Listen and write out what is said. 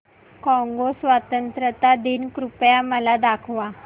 Congo स्वतंत्रता दिन कृपया मला दाखवा